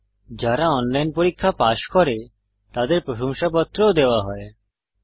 যারা অনলাইন পরীক্ষা পাস করে তাদের প্রশংসাপত্র সার্টিফিকেট ও দেওয়া হয়